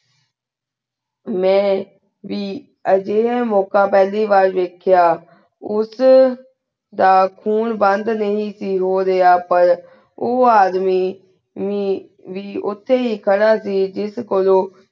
ਮੈਂ ਵੀ ਆਯ ਜਿੰਨੀ ਮੋਕ਼ਾ ਪਹਲੀ ਵਾਰ ਵਾਯ੍ਖ੍ਯਾ ਉਸ ਦਾ ਬੰਦ ਨਹੀ ਸੇ ਹੋ ਰਾਯ੍ਹਾ ਪਰ ਊ ਆਦਮੀ ਮੈ ਮੈ ਓਤੇ ਹੀ ਕਰ ਸੇ ਜਿਸ ਕੋਲੋ